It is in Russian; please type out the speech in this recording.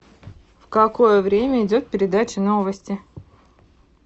в какое время идет передача новости